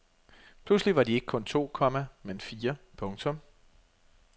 Pludselig var de ikke kun to, komma men fire. punktum